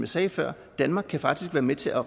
sagde før danmark kan faktisk være med til at